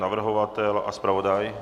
Navrhovatel a zpravodaj?